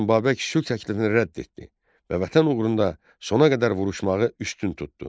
Lakin Babək sülh təklifini rədd etdi və vətən uğrunda sona qədər vuruşmağı üstün tutdu.